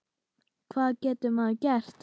Hvað getur maður gert?